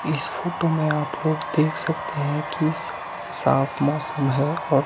इस फोटो में आप लोग देख सकते हैं की साफ साफ मौसम है और--